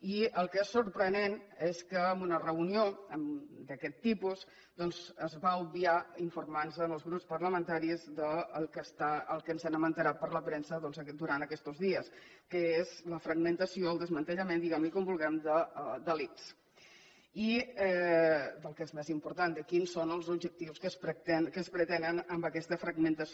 i el que és sorprenent és que en una reunió d’aquest tipus doncs es va obviar d’informar nos als grups parlamentaris del que ens hem assabentat per la premsa durant aquests dies que és la fragmentació el desmantellament diguem ne com vulguem de l’ics del que és més important de quins són els objectius que es pretenen amb aquesta fragmentació